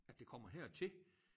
At det kommer hertil